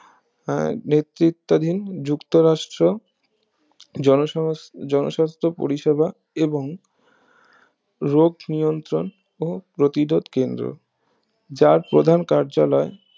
আহ নেতৃত্বাধীন যুক্তরাষ্ট্র জনসমস্থ জনস্বাস্থ পরিষেবা এবং রোগ নিয়ন্ত্রণ ও প্রতিরোধ কেন্দ্র যার প্রধান কার্যালয়